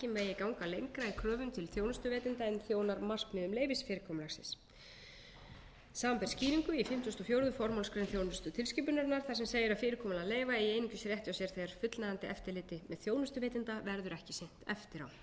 lengra í kröfum til þjónustuveitanda en þjónar markmiðum leyfisfyrirkomulagsins samanber skýringu í fimmtugasta og fjórða formálsgrein þjónustutilskipunarinnar þar sem segir að fyrirkomulag leyfa eigi einungis rétt á sér þegar fullnægjandi eftirliti með þjónustuveitanda verður ekki sinnt eftir á í samræmi við þessi framangreindu